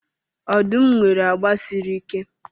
Ọdụm nwere agba siri ike.